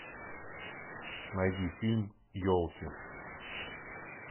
найди фильм елки